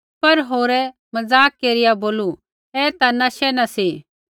पर होरै ठठा केरिआ बोलू ऐ ता नशै न सी